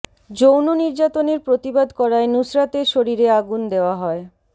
যৌন নির্যাতনের প্রতিবাদ করায় নুসরাতের শরীরে আগুন দেওয়া হয়